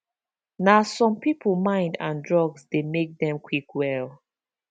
na some people mind and drugs dey make them quick well